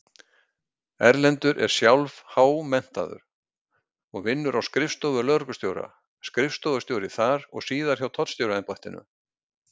Erlendur er sjálf-há-menntaður og vinnur á skrifstofu lögreglustjóra, skrifstofustjóri þar og síðar hjá Tollstjóraembættinu.